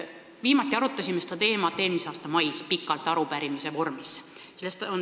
Viimati arutasime seda teemat pikalt eelmise aasta mais arupärimise vormis.